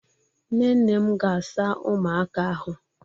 Nne nne m ga-asa ụmụaka ahụ.